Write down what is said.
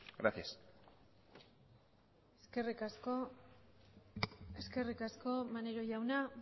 gracias eskerrik asko maneiro jauna